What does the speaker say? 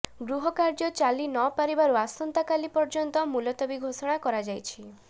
ଗୃହ କାର୍ଯ୍ୟ ଚାଲିନପାରିବାରୁ ଆସନ୍ତାକାଲି ପର୍ଯ୍ୟନ୍ତ ମୁଲତବୀ ଘୋଷଣା କରାଯାଇଛି